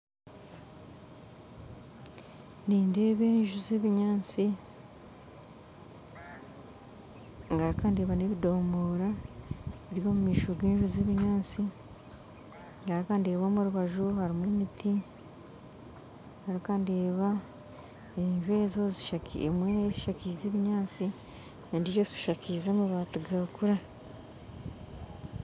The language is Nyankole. Nindeeba enju za ebinyaatsi ngaruka ndeeba na ebidomoora biri omu maisho ga enju za ebinyaatsi ngaruka ndeeba omu rubaju harimu emiti ngaruka ndeeba enju ezo zishakize emwe eshakize ebinyaatsi endijo eshakize amabati gakura